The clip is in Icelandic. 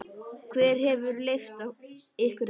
Hver hefur leyft ykkur þetta?